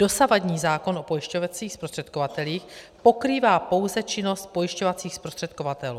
Dosavadní zákon o pojišťovacích zprostředkovatelích pokrývá pouze činnost pojišťovacích zprostředkovatelů.